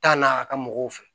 Taa na a ka mɔgɔw fɛ